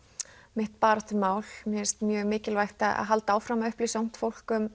mitt baráttumál mér finnst mjög mikilvægt að halda áfram að upplýsa ungt fólk um